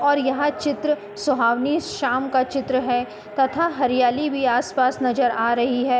और यहाँ चित्र शोहावनी शाम का चित्र है तथा हरियाली भी आस-पास नजर आ रही है।